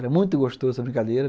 Era muito gostoso essa brincadeira.